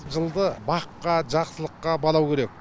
жылды баққа жақсылыққа балау керек